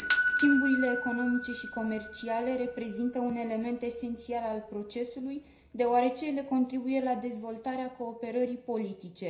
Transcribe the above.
Schimburile economice și comerciale reprezintă un element esențial al procesului deoarece ele contribuie la dezvoltarea cooperării politice.